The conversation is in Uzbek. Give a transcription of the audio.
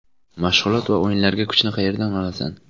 Mashg‘ulot va o‘yinlarga kuchni qayerdan olasan?